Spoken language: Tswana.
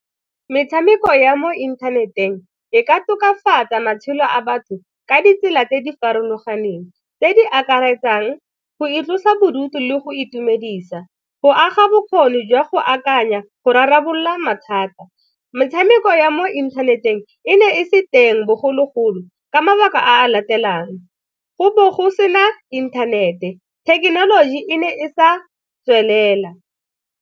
Metshameko ya mo inthaneteng e ka tokafatsa matshelo a batho ka ditsela tse di farologaneng tse di akaretsang, go itlosa bodutu le go itumedisa, go aga bokgoni jwa go akanya go rarabolola mathata. Metshameko ya mo inthaneteng e ne e se teng bogologolo ka mabaka a latelang, go bogosi fela inthanete, thekenoloji e ne e sa tswelela.